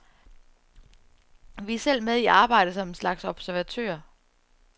Vi er selv med i arbejdet som en slags observatører.